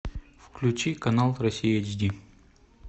включи канал россия эйч ди